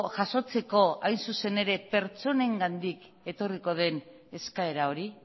jasotzeko hain zuzen ere pertsonengandik etorriko den eskaera hori